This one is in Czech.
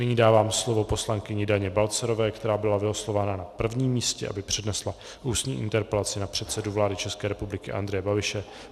Nyní dávám slovo poslankyni Daně Balcarové, která byla vylosována na prvním místě, aby přednesla ústní interpelaci na předsedu vlády České republiky Andreje Babiše.